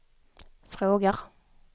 frågar